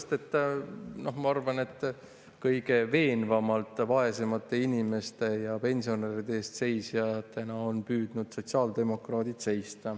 Sellepärast et ma arvan, et kõige veenvamalt on vaesemate inimeste ja pensionäride eest püüdnud seista just sotsiaaldemokraadid.